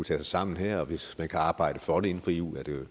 sig sammen her hvis man kan arbejde for det inden for eu vil det